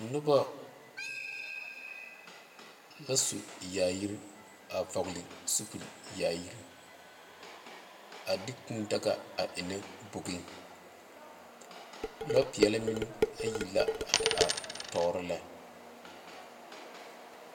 Noba la su yaayiri a vɔgle sapele yaayiri a de kūū daga a enne bogi lɔ peɛle meŋ ayi la a te are tɔɔre lɛ .